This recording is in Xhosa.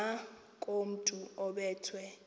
ngakomntu obe thwe